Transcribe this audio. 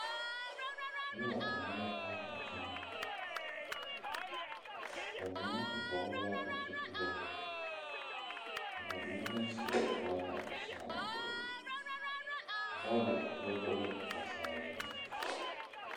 Nobɔ lang la taa a kyɛ naa ba mine vɔgle la zupile ka ba mine meŋ seɛ trɔza sɔglɔ bɔɔle do be la ba saazu.